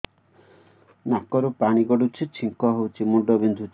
ନାକରୁ ପାଣି ଗଡୁଛି ଛିଙ୍କ ହଉଚି ମୁଣ୍ଡ ବିନ୍ଧୁଛି